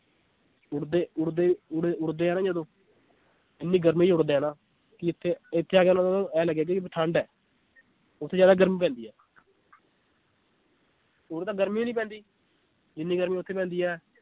ਉੱਡਦੇ ਉੱਡਦੇ ਉੱਡ~ ਉਡਦੇ ਆ ਨਾ ਜਦੋਂ ਇੰਨੀ ਗਰਮੀ 'ਚ ਉੱਡਦੇ ਆ ਨਾ ਕਿ ਇੱਥੇ ਇੱਥੇ ਆ ਕੇ ਇਉਂ ਲੱਗੇਗਾ ਵੀ ਠੰਢ ਹੈ ਉੱਥੇ ਜ਼ਿਆਦਾ ਗਰਮੀ ਪੈਂਦੀ ਹੈ ਉਰੇ ਤਾਂ ਗਰਮੀ ਨੀ ਪੈਂਦੀ ਜਿੰਨੀ ਗਰਮੀ ਉੱਥੇ ਪੈਂਦੀ ਹੈ।